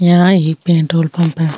यहाँ एक petrol pump है।